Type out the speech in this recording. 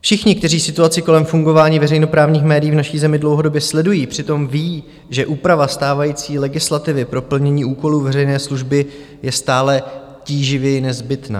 Všichni, kteří situaci kolem fungování veřejnoprávních médií v naší zemi dlouhodobě sledují, přitom vědí, že úprava stávající legislativy pro plnění úkolů veřejné služby je stále tíživěji nezbytná.